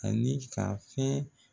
Ani ka fɛn